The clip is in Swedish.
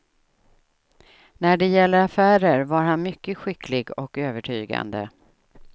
När det gällde affärer var han mycket skicklig och övertygande.